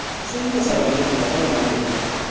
Heç özü də səbəbini bilmədən onlara nifrət edirdi.